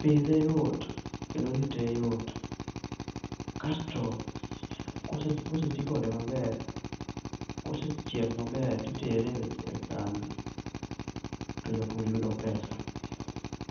pidhe yot kendo rite yot, kasto kosetii kode maber, kosechiek maber tikete e kambi to japur yudo pesa